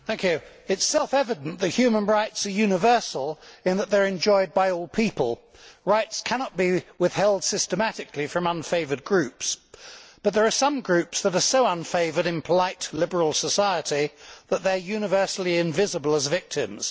Mr President, it is self evident that human rights are universal in that they are enjoyed by all people. Rights cannot be withheld systematically from unfavoured groups, but there are some groups that are so unfavoured in polite liberal society that they are universally invisible as victims.